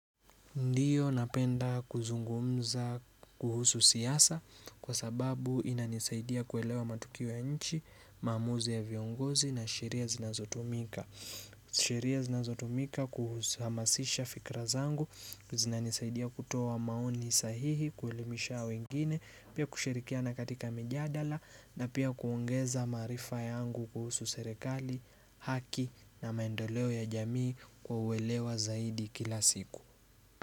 Ndiyo napenda kuzungumza kuhusu siyasa kwa sababu inanisaidia kuelewa matukio ya nchi, mamuzi ya viongozi na sheria zinazotumika. Sheria zinazotumika kuhusamasisha fikra zangu, zinanisaidia kutowa maoni sahihi, kuhelimisha wengine, pia kushirikia na katika mijadala na pia kuongeza marifa yangu kuhusu serekali, haki na maendoleo ya jamii kwa uwelewa zaidi kila siku.